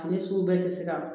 Ani sugu bɛɛ tɛ se ka ban